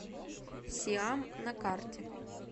сиам на карте